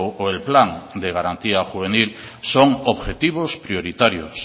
o el plan de garantía juvenil son objetivos prioritarios